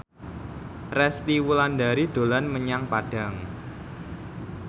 Resty Wulandari dolan menyang Padang